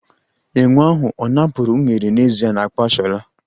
Enwe ahụ ọ̀ napụrụ unere n'ezie n'akpa Shola?